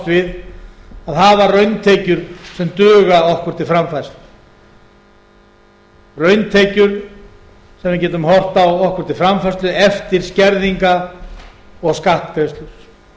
við að hafa rauntekjur sem duga okkur til framfærslu rauntekjur sem við getum horft á okkur til framfærslu eftir skerðingar og